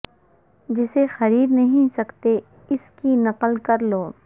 جسے خرید نہیں سکتے اس کی نقل کر لو